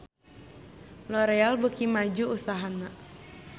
L'oreal beuki maju usahana